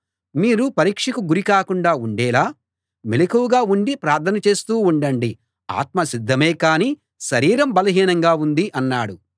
మీరు పరీక్షకు గురి కాకుండా ఉండేలా మెలకువగా ఉండి ప్రార్థన చేస్తూ ఉండండి ఆత్మ సిద్ధమే కానీ శరీరం బలహీనంగా ఉంది అన్నాడు